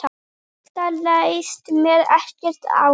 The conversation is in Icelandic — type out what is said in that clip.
Þetta leist mér ekkert á.